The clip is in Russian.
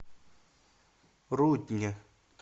рудне